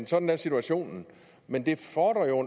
sådan er situationen men det fordrer jo